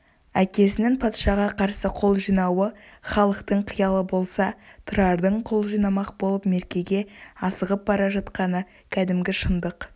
әкесінің патшаға қарсы қол жинауы халықтың қиялы болса тұрардың қол жимақ болып меркеге асығып бара жатқаны кәдімгі шындық